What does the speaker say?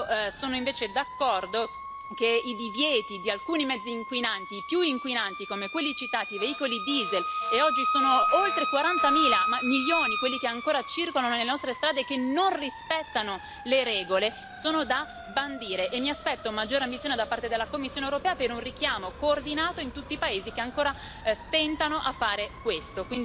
Io sono invece d'accordo che i divieti di alcuni mezzi inquinanti, più inquinanti come quelli citati, i veicoli diesel e oggi sono oltre 40 milioni quelli che ancora circolano nelle nostre strade che non rispettano le regole sono da bandire e mi aspetto maggiore ambizione da parte della Commissione europea per un richiamo coordinato in tutti i paesi che ancora stentano a fare questo.